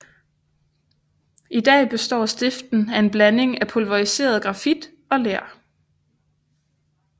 I dag består stiften af en blanding af pulveriseret grafit og ler